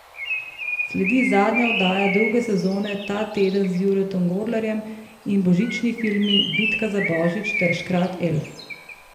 Sledi zadnja oddaja druge sezone Ta teden z Juretom Godlerjem in božični filmi Bitka za Božič ter Škrat Elf.